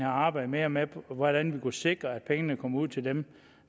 arbejdet mere med hvordan vi kunne sikre at pengene kom ud til dem